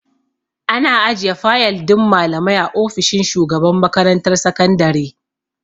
Ana ajiye fayal din malamai a ofishin shugaban makarantar sakandare.